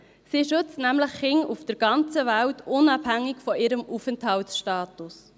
Sie schützt nämlich Kinder auf der ganzen Welt, unabhängig von ihrem Aufenthaltsstatus.